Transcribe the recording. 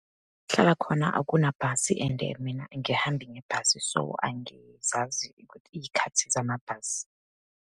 Hlala khona akunabhasi and mina angihambi ngebhasi, so angizazi iy'khathi zamabhasi.